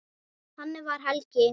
Þannig var Helgi.